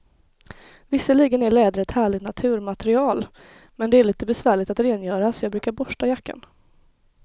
Visserligen är läder ett härligt naturmaterial, men det är lite besvärligt att rengöra, så jag brukar borsta jackan.